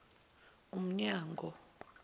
umnyango